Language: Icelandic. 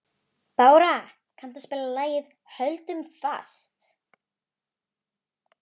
Bára, kanntu að spila lagið „Höldum fast“?